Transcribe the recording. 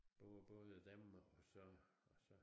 Det var både dem og så og så